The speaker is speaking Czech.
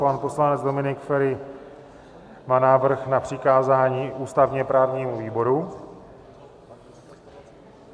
Pan poslanec Dominik Feri má návrh na přikázání ústavně-právnímu výboru.